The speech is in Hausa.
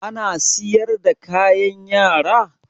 Ana siyar da kayan Yara?